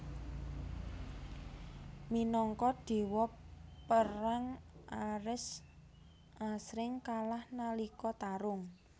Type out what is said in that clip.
Minangka dewa perang Ares asring kalah nalika tarung